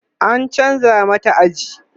an chanza mata aji